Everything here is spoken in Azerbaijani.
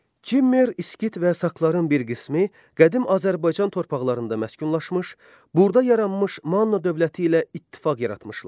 Kimmer, İskit və Sakların bir qismi qədim Azərbaycan torpaqlarında məskunlaşmış, burda yaranmış Manna dövləti ilə ittifaq yaratmışdılar.